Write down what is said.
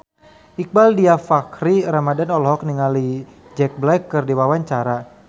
Iqbaal Dhiafakhri Ramadhan olohok ningali Jack Black keur diwawancara